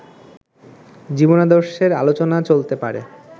জীবনাদর্শের আলোচনা চলতে পারে